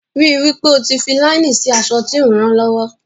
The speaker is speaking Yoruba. Ríi wí pé o fi fi láínì sí aṣọ tí o ń ran lọ́wọ́.